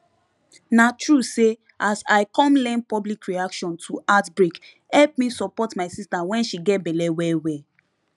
na true say as i come learn public reaction to outbreake help me support my sister when she gets belle well well